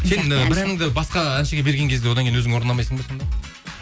сен і бір әніңді басқа әншіге берген кезде одан кейін өзің орындамайсың ба сонда